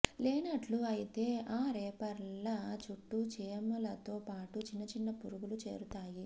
లేనట్లు అయితే ఆ రేపర్ల చుట్టూ చీమలతో పాటు చిన్న చిన్న పురుగులు చేరుతాయి